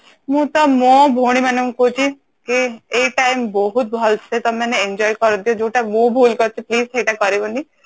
ମୁଁ ତ ମୋ ଭଉଣୀ ମାନଙ୍କୁ କହୁଛି ଯେ ଏଇ time ବହୁତ ଭଲସେ ତମେ ମାନେ enjoy କରିଦିଅ ଯୋଉଟା ମୁଁ ଭୁଲ କରିଛି please ସେଇଟା କରିବନି